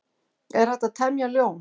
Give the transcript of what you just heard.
Er hægt að temja ljón?